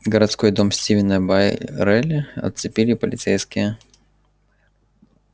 городской дом стивена байерли оцепили полицейские